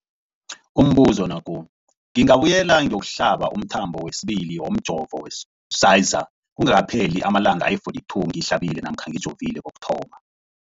Umbuzo, ngingabuyela ngiyokuhlaba umthamo wesibili womjovo we-Pfizer kungakapheli ama-42 wamalanga ngihlabe namkha ngijove kokuthoma.